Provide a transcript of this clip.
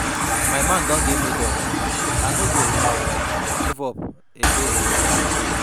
My mind don dey made up. I no go um give up again um.